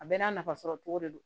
A bɛɛ n'a nafasɔrɔcogo de don